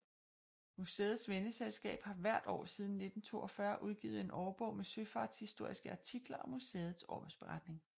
Museets venneselskab har hvert år siden 1942 udgivet en årbog med søfartshistoriske artikler og museets årsberetning